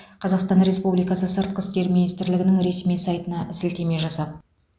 қазақстан республикасы сыртқы істер министрлігінің ресми сайтына сілтеме жасап